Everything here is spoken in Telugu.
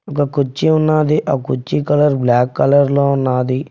ఒక కుర్చీ ఉన్నది ఆ కుర్చీ కలర్ బ్లాక్ కలర్ లో ఉన్నది.